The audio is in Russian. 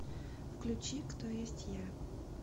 включи кто есть я